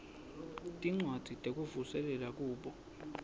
tincwadzi tekuvuselela kubo